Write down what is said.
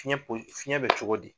Fiyɛn po fiyɛn bɛ cogo di?